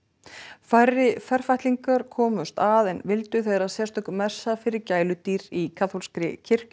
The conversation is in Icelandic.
færri komust að en vildu þegar sérstök messa fyrir gæludýr í kaþólskri kirkju